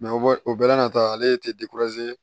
o bɛ o bɛɛ na tɔ ale tɛ